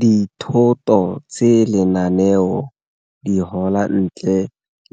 Dithoto tse lenaneo di gola ntle